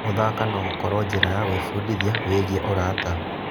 Gũthaka no gũkorwo njĩra ya gwĩbundithia wĩgiĩ ũrata.